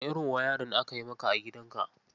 Wane irin wayarin aka yi maka a gidanka?